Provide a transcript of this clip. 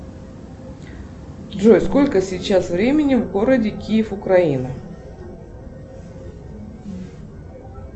джой сколько сейчас времени в городе киев украина